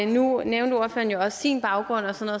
nu nævnte ordføreren jo også sin baggrund og sådan